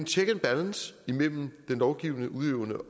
check and balance mellem den lovgivende og udøvende